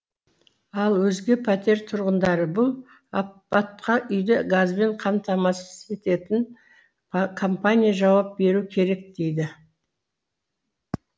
ал өзге пәтер тұрғындары бұл апатқа үйді газбен қамтамасыз ететін компания жауап беру керек дейді